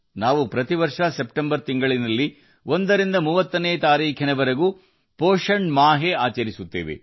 ನಾವು ಪ್ರತಿ ವರ್ಷ ಸೆಪ್ಟೆಂಬರ್ 1 ರಿಂದ 30 ರವರೆಗೆ ಪೋಷಣ ಮಾಹೆಯನ್ನು ಆಚರಿಸುತ್ತೇವೆ